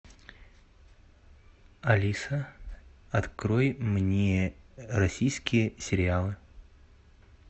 алиса открой мне российские сериалы